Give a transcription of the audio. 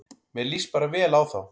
Mér líst bara vel á þá